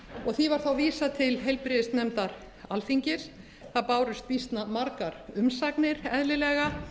því var þá vísað til heilbrigðisnefndar alþingis það bárust býsna margar umsagnir eðlilega